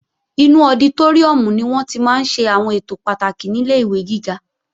Inú ọditóríùm ni wọ́n tí máa ń ṣe àwọn ètò pàtàkì nílé ìwé gíga